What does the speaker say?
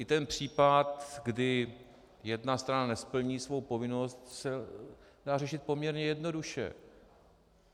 I ten případ, kdy jedna strana nesplní svou povinnost, se dá řešit poměrně jednoduše.